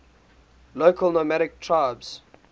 local nomadic tribes